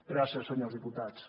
gràcies senyors diputats